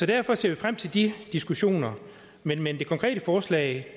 derfor ser vi frem til de diskussioner men men det konkrete forslag